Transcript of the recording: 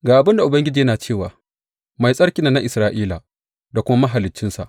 Ga abin da Ubangiji yana cewa, Mai Tsarkin nan na Isra’ila, da kuma Mahaliccinsa.